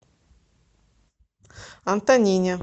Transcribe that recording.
антонине